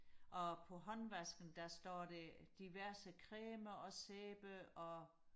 og på håndvasken der står der diverse creme og sæbe og